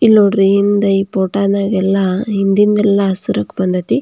ಇಲ್ಲಿ ನೋಡ್ರಿ ಹಿಂದೆ ಈ ಫೋಟೋ ದಗೆ ಎಲ್ಲ ಹಿಂದಿಂದು ಎಲ್ಲ ಹಸೀರು ಬಂದ್ ಐತಿ.